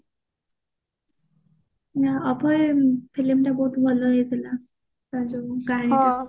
ହାଣ ଆ କୁଆଡେ film ତା ବହୁତ ଭଲ ହେଇଥିଲା